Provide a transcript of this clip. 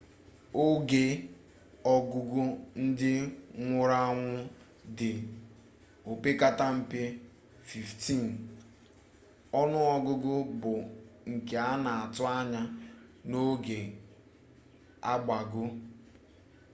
onu ogugu ndi nwuru-anwu di opekata-mpe 15 onu ogugu bu nke ana atu-anya na oga agbago